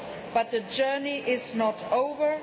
But the journey is not over.